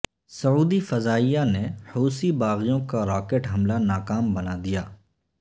سعودی فضائیہ نے حوثی باغیوں کا راکٹ حملہ ناکام بنا دیا